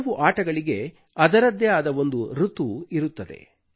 ಕೆಲವು ಆಟಗಳಿಗೆ ಅದರದ್ದೇ ಆದ ಒಂದು ಋತು ಇರುತ್ತದೆ